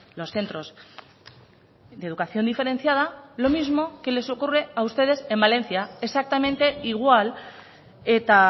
los centros de educación diferenciada lo mismo que les ocurre a ustedes en valencia exactamente igual eta